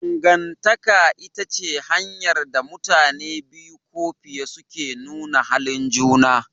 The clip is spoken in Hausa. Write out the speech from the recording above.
Dangantaka ita ce hanyar da mutane biyu ko fiye suke nuna halin juna.